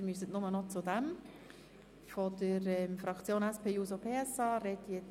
Sie müssen sich also nur noch zu einem Postulat äussern.